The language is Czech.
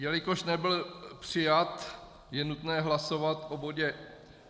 Jelikož nebyl přijat, je nutné hlasovat o bodě